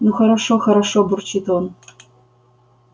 ну хорошо хорошо бурчит он